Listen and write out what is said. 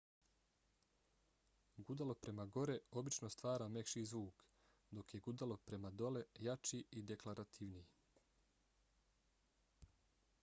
gudalo prema gore obično stvara mekši zvuk dok je gudalo prema dole jači i deklarativniji